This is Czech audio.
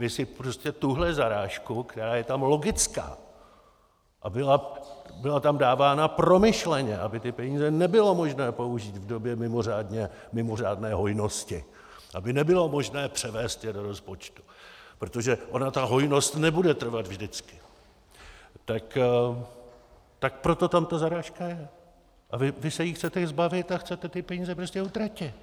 Vy si prostě tuhle zarážku, která je tam logická a byla tam dávána promyšleně, aby ty peníze nebylo možné použít v době mimořádné hojnosti, aby nebylo možné převést je do rozpočtu, protože ona ta hojnost nebude trvat vždycky, tak proto tam ta zarážka je, a vy se jí chcete zbavit a chcete ty peníze prostě utratit.